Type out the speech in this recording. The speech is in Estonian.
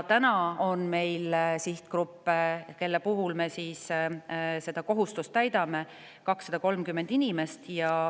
Meil on praegu olemas sihtgrupp, kelle puhul me seda kohustust täidame – 230 inimest.